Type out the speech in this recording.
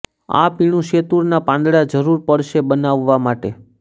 આ પીણું શેતૂરના પાંદડા જરૂર પડશે બનાવવા માટે